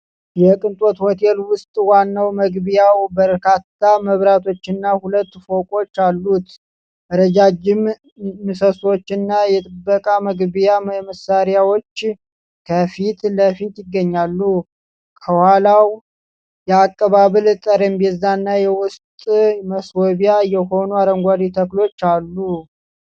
የቅንጦት ሆቴል ውስጥ ዋናው መግቢያው በርካታ መብራቶችና ሁለት ፎቆች አሉት። ረጃጅም ምሰሶችና የጥበቃ መግቢያ መሳሪያዎች ከፊት ለፊት ይገኛሉ። ከኋላው የአቀባበል ጠረጴዛና የውስጥ ማስዋቢያ የሆኑ አረንጓዴ ተክሎች አሉ።